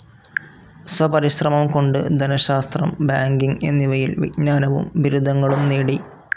സ്വപരിശ്രമം കൊണ്ട് ധനശാസ്ത്രം, ബാങ്കിങ്‌ എന്നിവയിൽ വിജ്ഞാനവും ബിരുദങ്ങളും നേടി.